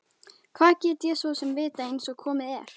Hvað get ég svo sem vitað einsog komið er?